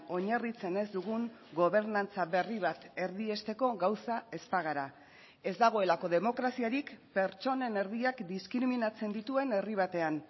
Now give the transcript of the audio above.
oinarritzen ez dugun gobernantza berri bat erdiesteko gauza ez bagara ez dagoelako demokraziarik pertsonen erdiak diskriminatzen dituen herri batean